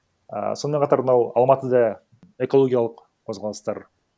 і сонымен қатар мынау алматыда экологиялық қозғалыстар